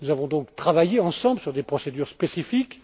Nous avons donc travaillé ensemble sur des procédures spécifiques.